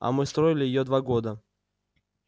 а мы строили её два года